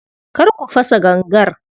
Kar ku fasa gangar.